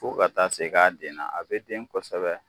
Fo ka taa se k'a denna a bɛ den kɔsɛbɛ.